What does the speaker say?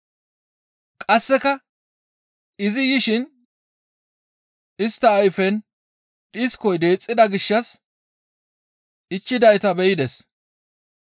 Qasseka izi yishin istta ayfen dhiskoy deexxida gishshas ichchidayta be7ides.